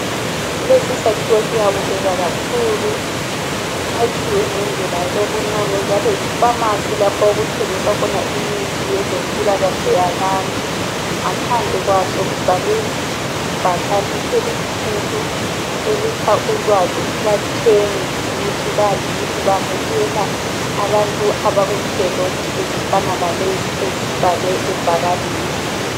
Lesi sakhiwo siyabukeka kakhulu, sakhiwe ngendlela elobunono njalo yipharmacy lapho okuthengiswa khona imithi yezempilakahle yabantu. Ngaphandle kwaso kubhalwe ibhakane elikhulu elipha ulwazi kubathengi ukuthi bazi ukuthi bamukela abantu abakunhlelo ezifana lalezi ezibhalwe ebhakaneni.